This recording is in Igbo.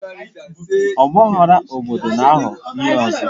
Ọgbaghara obodo na-ahọ ihe ọzọ